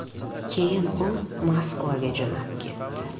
Keyin u Moskvaga jo‘nab ketdi.